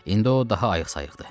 İndi o daha ayıqsayıqdır.